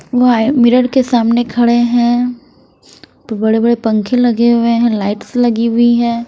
वह मिरर के सामने खड़े हैं बड़े-बड़े पंखे लगे हुए हैं लाइट्स लगी हुई हैं।